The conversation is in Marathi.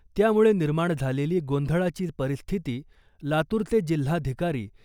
त्यामुळे निर्माण झालेली गोंधळाची परिस्थिती लातूरचे जिल्हाधिकारी